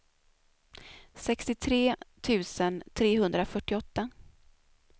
sextiotre tusen trehundrafyrtioåtta